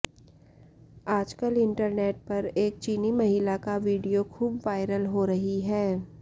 आजकल इंटरनेट पर एक चीनी महिला की वीडियो खूब वायरल हो रही है